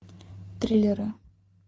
триллеры